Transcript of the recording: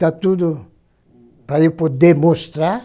Está tudo para eu poder mostrar.